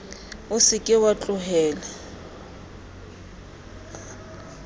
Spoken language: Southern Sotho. o se ke wa tlohela